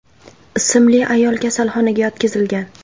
ismli ayol kasalxonaga yotqizilgan.